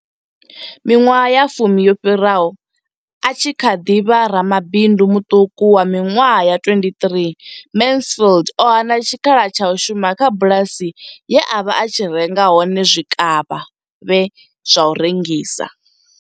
Miṅwaha ya fumi yo fhiraho, a tshi kha ḓi vha ramabindu muṱuku wa miṅwaha ya 23, Mansfield o hana tshikhala tsha u shuma kha bulasi ye a vha a tshi renga hone zwikavhavhe zwa u rengisa.